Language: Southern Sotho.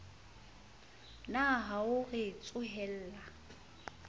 na ha o re tsohella